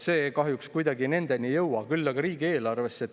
See kahjuks kuidagi nendeni ei jõua, küll aga jõuab see riigieelarvesse.